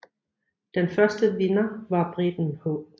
Den første vinder var briten H